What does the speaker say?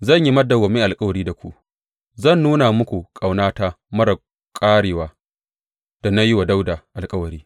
Zan yi madawwamin alkawari da ku, zan nuna muku ƙaunata marar ƙarewa da na yi wa Dawuda alkawari.